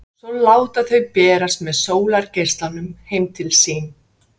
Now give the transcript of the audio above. Svo láta þau berast með sólargeislunum heim til sín.